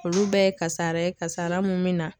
Olu bɛɛ ye kasara ye kasara mun bɛ na